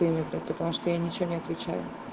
потому что я ничего не отвечаю